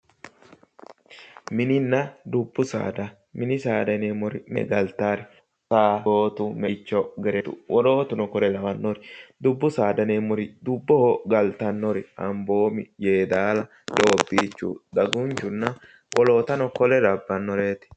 Mininna dubbu saada mini saada yineemmori mine galtaari gaangootu meichu gereewu wolootuno kuri lawannori dubbu aada yineemmori amboomi yeedaala doobbiichu dagunchohonna wolootano kuri labbannoreeti